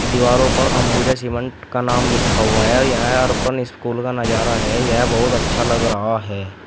दीवारों पर अंबुजा सीमेंट का नाम लिखा हुआ है और यह और अपन स्कूल का नजारा है यह बहुत अच्छा लग रहा है।